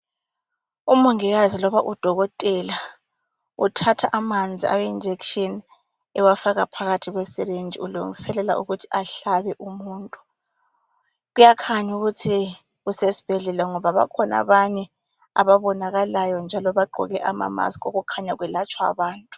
Umongikazi loba udokotela uthatha amanzi awenjekishini ewafaka phakathi kwesirinji ulungiselela ukuthi ahlabe umuntu. Kuyakhanya ukuthi usesibhedlela ngoba bakhona abanye ababonakalayo njalo bagqoke ama mask okukhanya kwelatshwa abantu.